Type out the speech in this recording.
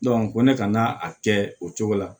ko ne ka na a kɛ o cogo la